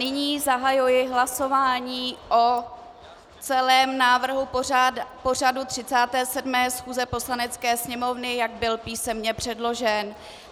Nyní zahajuji hlasování o celém návrhu pořadu 37. schůze Poslanecké sněmovny, jak byl písemně předložen.